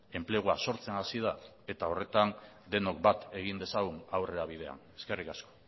enplegua sortzen hasi da eta horretan denok bat egin dezagun aurrerabidean eskerrik asko